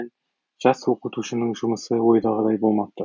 жас оқытушының жұмысы ойдағыдай болмапты